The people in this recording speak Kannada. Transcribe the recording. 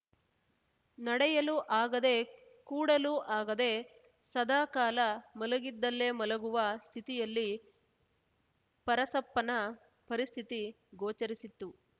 ನಡೆಯಲು ಆಗದೇ ಕೂಡಲು ಆಗದೆ ಸದಾ ಕಾಲ ಮಲಗಿದಲ್ಲೇ ಮಲಗುವ ಸ್ಥಿತಿಯಲ್ಲಿ ಪರಸಪ್ಪನ ಪರಿಸ್ಥಿತಿ ಗೋಚರಿಸಿತ್ತು